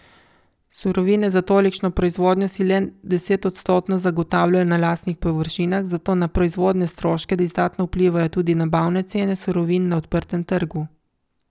Surovine za tolikšno proizvodnjo si le desetodstotno zagotavljajo na lastnih površinah, zato na proizvodne stroške izdatno vplivajo tudi nabavne cene surovin na odprtem trgu.